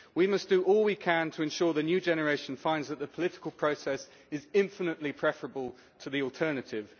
We must do all we can to ensure that the new generation finds that the political process is infinitely preferable to the alternative.